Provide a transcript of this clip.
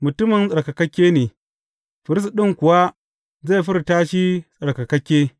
Mutumin tsarkakakke ne, firist ɗin kuwa zai furta shi tsarkakakke.